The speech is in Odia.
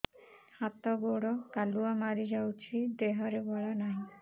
ହାତ ଗୋଡ଼ କାଲୁଆ ମାରି ଯାଉଛି ଦେହରେ ବଳ ନାହିଁ